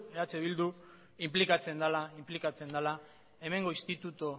eh bildu inplikatzen dela hemengo institutu